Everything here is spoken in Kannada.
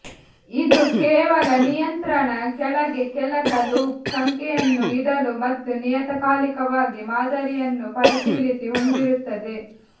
ಇದು ಕೇವಲ ನಿಯಂತ್ರಣ ಕೆಳಗೆ ಕೆಲಸ ಲೂಪ್ ಸಂಖ್ಯೆಯನ್ನು ಇಡಲು ಮತ್ತು ನಿಯತಕಾಲಿಕವಾಗಿ ಮಾದರಿಯನ್ನು ಪರಿಶೀಲಿಸಿ ಹೊಂದಿರುತ್ತದೆ